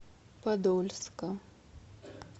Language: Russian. подольска